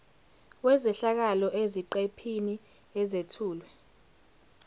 wezehlakalo eziqephini ezethulwe